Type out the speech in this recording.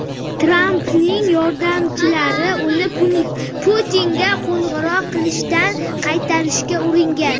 Trampning yordamchilari uni Putinga qo‘ng‘iroq qilishdan qaytarishga uringan.